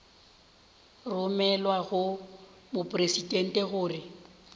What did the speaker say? go romelwa go mopresidente gore